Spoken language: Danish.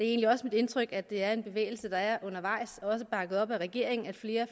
egentlig også mit indtryk at det er en bevægelse der er undervejs også bakket op af regeringen at flere